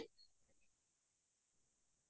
হয়